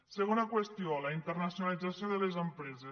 segona qüestió la internacionalització de les empreses